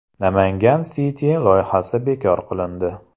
Namangan City loyihasi bekor qilindi.